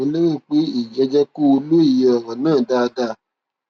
mo lérò pé èyí á jẹ kó o lóye ọrọ náà dáadáa